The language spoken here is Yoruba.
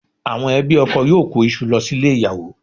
Àwọn ẹbí ọkọ yóò kó iṣu lọ sílé ìyàwó